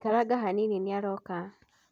Ikaranga hanini nĩ aroka.